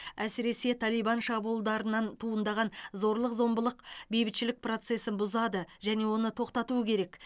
әсіресе талибан шабуылдарынан туындаған зорлық зомбылық бейбітшілік процесін бұзады және оны тоқтату керек